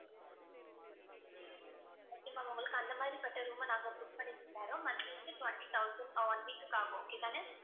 okay ma'am உங்களுக்கு அந்த மாதிரிப்பட்ட room அ நாங்க book பண்ணித் தர்றோம் monthly வந்து twenty thousand one week க்கு ஆகும் okay தானே